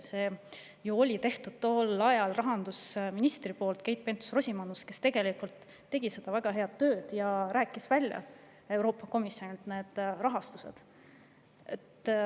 See töö oli ju tehtud, tol ajal rahandusminister Keit Pentus-Rosimannus tegi väga head tööd ja rääkis meile välja Euroopa Komisjoni rahastuse.